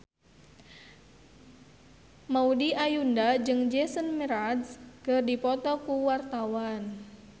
Maudy Ayunda jeung Jason Mraz keur dipoto ku wartawan